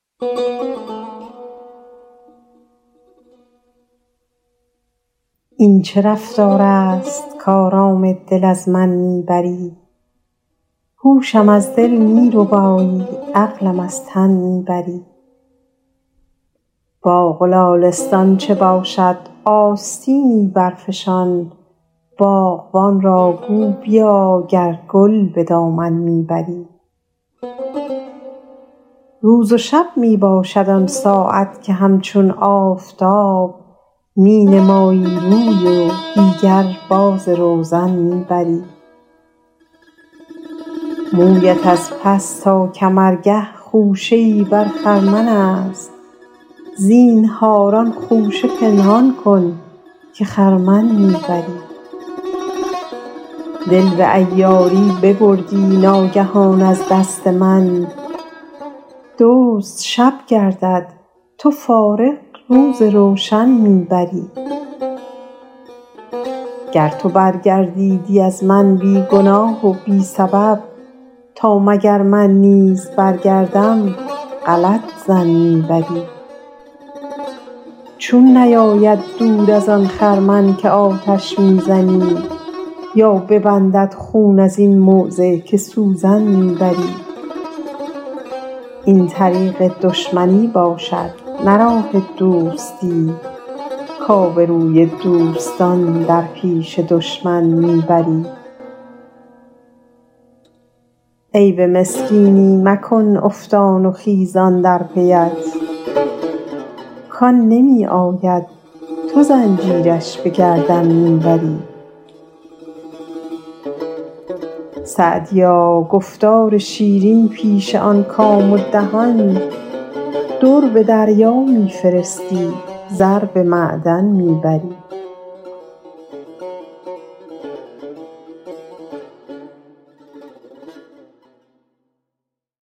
این چه رفتار است کآرامیدن از من می بری هوشم از دل می ربایی عقلم از تن می بری باغ و لالستان چه باشد آستینی برفشان باغبان را گو بیا گر گل به دامن می بری روز و شب می باشد آن ساعت که همچون آفتاب می نمایی روی و دیگر باز روزن می بری مویت از پس تا کمرگه خوشه ای بر خرمن است زینهار آن خوشه پنهان کن که خرمن می بری دل به عیاری ببردی ناگهان از دست من دزد شب گردد تو فارغ روز روشن می بری گر تو برگردیدی از من بی گناه و بی سبب تا مگر من نیز برگردم غلط ظن می بری چون نیاید دود از آن خرمن که آتش می زنی یا ببندد خون از این موضع که سوزن می بری این طریق دشمنی باشد نه راه دوستی کآبروی دوستان در پیش دشمن می بری عیب مسکینی مکن افتان و خیزان در پی ات کآن نمی آید تو زنجیرش به گردن می بری سعدیا گفتار شیرین پیش آن کام و دهان در به دریا می فرستی زر به معدن می بری